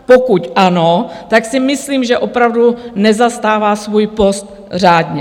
Pokud ano, tak si myslím, že opravdu nezastává svůj post řádně.